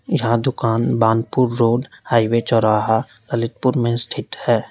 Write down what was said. यह दुकान Banpur road highway चौराहा ललितपुर में स्थित है।